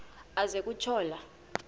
aze kutsho la